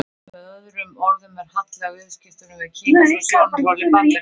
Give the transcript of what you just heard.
Með öðrum orðum er halli á viðskiptunum við Kína frá sjónarhóli Bandaríkjamanna.